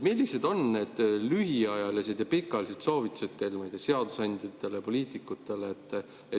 Millised on need lühiajalised ja pikaajalised soovitused seadusandjatele, poliitikutele?